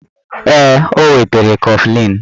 Ee, o wetara kọflịn